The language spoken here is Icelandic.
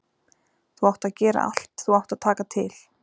Þú átt að gera allt, þú átt að taka til.